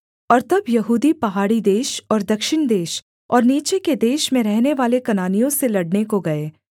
और तब यहूदी पहाड़ी देश और दक्षिण देश और नीचे के देश में रहनेवाले कनानियों से लड़ने को गए